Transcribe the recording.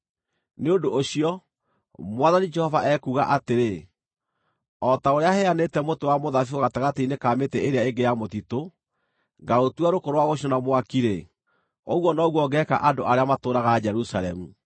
“Nĩ ũndũ ũcio, Mwathani Jehova ekuuga atĩrĩ: O ta ũrĩa heanĩte mũtĩ wa mũthabibũ gatagatĩ-inĩ ka mĩtĩ ĩrĩa ĩngĩ ya mũtitũ, ngaũtua rũkũ rwa gũcinwo na mwaki-rĩ, ũguo noguo ngeeka andũ arĩa matũũraga Jerusalemu.